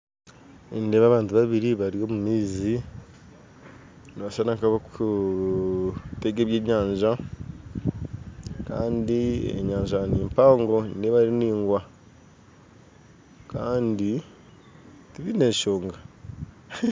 Nindeeba abantu babiri bari omu maizi nibashushana nkabakutega ebyenyanja kandi enyanja nimpango nindeeba eri ndingwa kandi tibaine enshonga